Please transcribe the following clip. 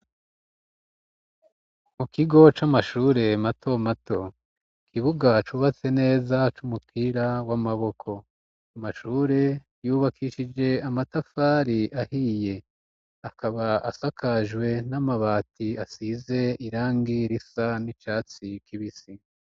Mu kigo c'amashure mato mato kibuga c ubatse neza c'umupira w'amaboko amashure yubakishije amatafari ahiye akaba asakajwe n'amabati asize irangi risa n'icatsi kibisi.